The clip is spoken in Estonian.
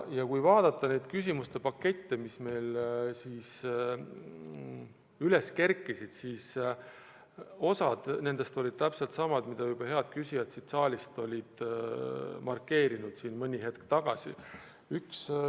Ja kui vaadata neid küsimuste pakette, mis meil üles kerkisid, siis osa nendest olid täpselt samad, mida head inimesed ka siin saalis mõni hetk tagasi juba markeerisid.